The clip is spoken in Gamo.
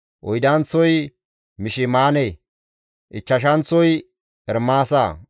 oydanththozi Mishimaane, ichchashanththozi Ermaasa,